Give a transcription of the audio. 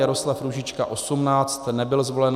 Jaroslav Růžička 18, nebyl zvolen.